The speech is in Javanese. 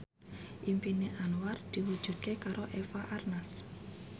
impine Anwar diwujudke karo Eva Arnaz